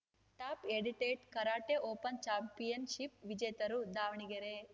top edited karate open championship ವಿಜೇತರು ದಾವಣಗೆರೆ